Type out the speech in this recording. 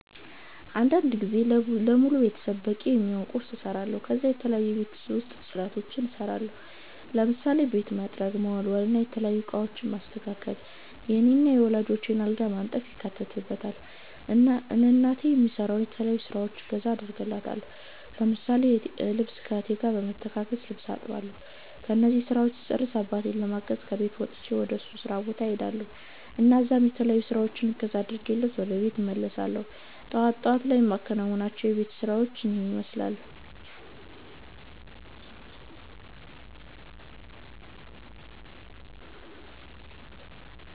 አንዳንድ ጊዜ ለሙሉ ቤተሰብ በቂ የሚሆን ቁርስ እሰራለሁ ከዛ የተለያዩ የቤት ውስጥ ፅዳቶችን እሰራለሁ ለምሳሌ ቤት መጥረግ፣ መወልወል፣ የተለያዩ እቃወችን ማስተካከል፣ የኔን እና የወላጆቸን አልጋ ማንጠፍ ይካተትበታል። እና እናቴ በምሰራው የተለያዩ ስራወች ላይ እገዛ አደርግላታለሁ እንዲሁም ልብስ ከ እህቴ ጋር በመተጋገዝ ልብስ አጥባለሁ እነዚህን ስራወች ስጨርስ አባቴን ለማገዝ ከቤት ወጥቸ ወደ እሱ ስራ ቦታ እሄዳልሁ እና እዛም በተለያዩ ስራወች እገዛ አድርጌለት ወደ ቤት እመለሳለሁ እና ጠዋት ጠዋት ላይ የማከናዉናቸው የቤት ውስጥ ስራወች ይህንን ይመስላሉ